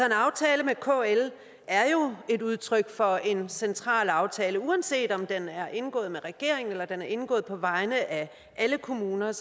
aftale med kl er jo et udtryk for en central aftale uanset om den er indgået med regeringen eller om den er indgået på vegne af alle kommuner jeg